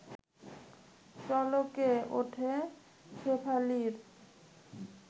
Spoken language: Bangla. চলকে ওঠে শেফালির